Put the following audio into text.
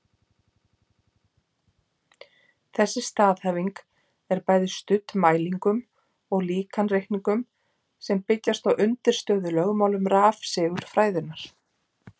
Þessi staðhæfing er bæði studd mælingum og líkanreikningum sem byggjast á undirstöðulögmálum rafsegulfræðinnar.